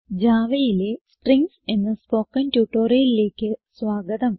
Javaയിലെ സ്ട്രിംഗ്സ് എന്ന സ്പോകെൻ ട്യൂട്ടോറിയലിലേക്ക് സ്വാഗതം